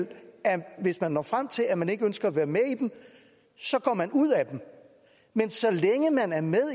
hvis man når frem til at man ikke ønsker at være med i dem så går man ud af dem men så længe man er med